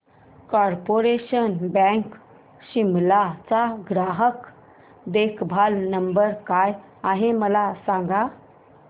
corporation Bank Shimla चा ग्राहक देखभाल नंबर काय आहे मला सांग